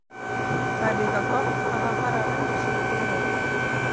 Það er líka gott að hann fari að venja sig við mig.